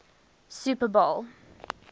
super bowl